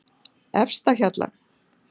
Efstahjalla